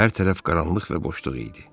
Hər tərəf qaranlıq və boşluq idi.